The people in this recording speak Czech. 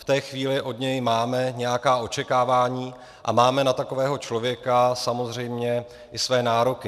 V té chvíli od něj máme nějaká očekávání a máme na takového člověka samozřejmě i své nároky.